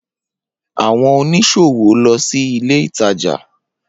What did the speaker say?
Awọn oniṣowo lọ si ile itaja.